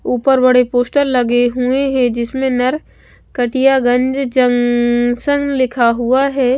ऊपर बड़े पोस्टर लगे हुए हैं जिसमें नर कटियागंज जंक्शन लिखा हुआ है।